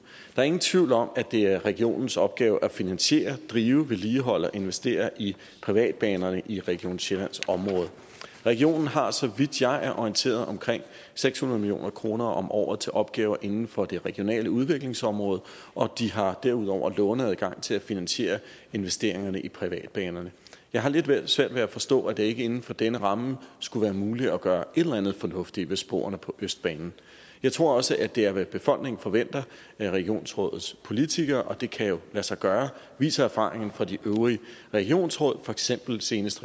er ingen tvivl om at det er regionens opgave at finansiere drive vedligeholde og investere i privatbanerne i region sjællands område regionen har så vidt jeg er orienteret omkring seks hundrede million kroner om året til opgaver inden for det regionale udviklingsområde og de har derudover låneadgang til at finansiere investeringerne i privatbanerne jeg har lidt svært at forstå at det ikke inden for denne ramme skulle være muligt at gøre et eller andet fornuftigt ved sporene på østbanen jeg tror også det er hvad befolkningen forventer af regionsrådets politikere og det kan jo lade sig gøre viser erfaringerne fra de øvrige regionsråd for eksempel senest